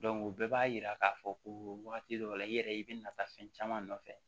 o bɛɛ b'a yira k'a fɔ ko wagati dɔ la i yɛrɛ i bɛ na taa fɛn caman nɔfɛ